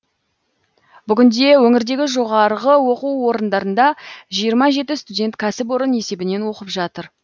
бүгінде өңірдегі жоғарғы оқу орындарында жиырма жеті студент кәсіпорын есебінен оқып жатыр